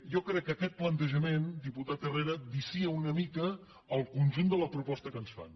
jo crec que aquest plantejament diputat herrera vicia una mica el conjunt de la proposta que ens fan